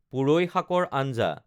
পুৰৈ শাকৰ আঞ্জা